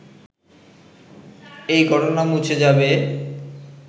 এই ঘটনা মুছে যাবে